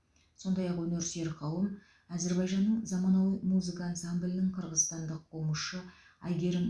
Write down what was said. сондай ақ өнер сүйер қауым әзербайжанның заманауи музыка ансамблінің қырғызстандық комузшы әйгерім